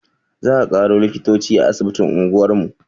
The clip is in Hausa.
Za a ƙaro likitoci a asibitin unguwar mu